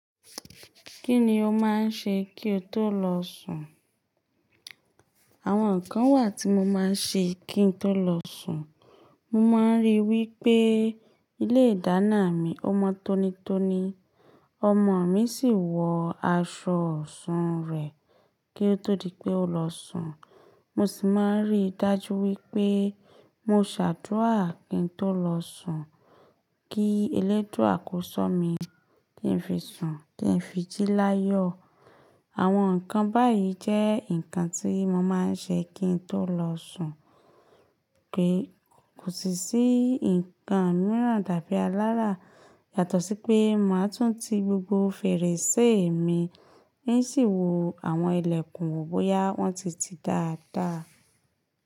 Kí ni o máa ń ṣe kí o tó lọ sùn? Àwọn nǹkan wà tí mo máa ń ṣe kí n tó lọ sùn. Mo máa ń rí i wí pé ilé ìdáná mi ó mọ tónítóní, ọmọ mi sì wọ aṣọ ọ̀ṣun rẹ̀ kí ó tó di pé ó lọ sùn. Mo sì máa ń rí i dájú wí pé mo ṣàdúrà kí n tó lọ sùn kí eléduà kọ́ ṣo mi kí ń fi sùn, kí ń fi jí láyọ̀. Àwọn nǹkan báyìí jẹ́ nǹkan tí mo máa ń ṣe kí n tó lọ sùn pé kò sì sí nǹkan mìíràn dàbí alárà yàtọ̀ sí pé màá tún ti gbogbo fèrèsé mi n sì wò àwọn ìlẹ̀kùn bóyá wọ́n ti tì dáadáa.